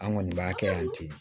An kɔni b'a kɛ yan ten